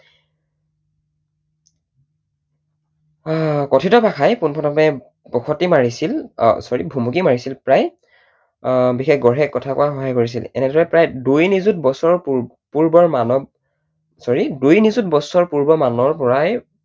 আহ কথিত ভাষাই পোন প্ৰথমে বসতি মাৰিছিল sorry ভুমুকি মাৰিছিল প্ৰায় বিশেষ গঢ়ে কথা কোৱাৰ সহায় কৰিছিল। এনেদৰে প্ৰায় দুই নিযুত বছৰ পুৰ্বৰ মানৱ sorry দুই নিযুত বছৰ মানৰ পৰাই